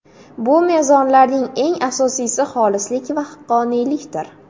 Bu mezonlarning eng asosiysi xolislik va haqqoniylikdir.